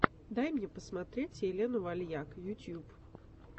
дай мне посмотреть елену вальяк ютуб